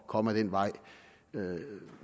komme ad den vej